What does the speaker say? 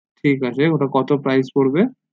ঠিক আছে ওটা কত price পড়বে